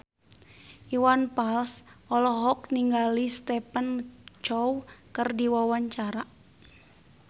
Iwan Fals olohok ningali Stephen Chow keur diwawancara